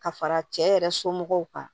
Ka fara cɛ yɛrɛ somɔgɔw kan